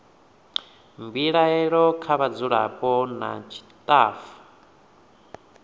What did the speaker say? mbilaelo kha vhadzulapo nna tshitafu